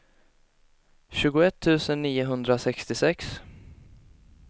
tjugoett tusen niohundrasextiosex